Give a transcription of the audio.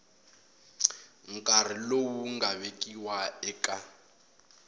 nkarhi lowu nga vekiwa eka